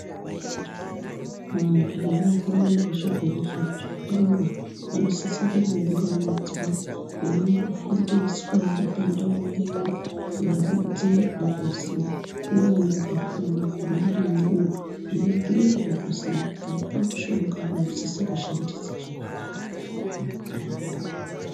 Vantu vankrwara ngechirwere chefungwa vanosise kumbounganidzwa veimbofundiswa vari pandau imwe veironzerwa kuzi nevanogara navo vakhona varimwowo veibhiirwa kuzi tikamupa mushonga munosisa kushandisa zvakadai muntu wenyu anotwaya.